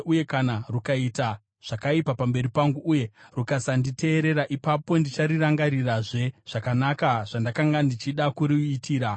uye kana rukaita zvakaipa pamberi pangu uye rukasanditeerera, ipapo ndicharangarirazve zvakanaka zvandakanga ndichida kuruitira.